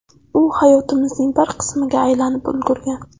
U hayotimizning bir qismiga aylanib ulgurgan.